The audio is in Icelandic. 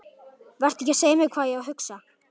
Vertu ekki að segja mér hvað ég á að hugsa!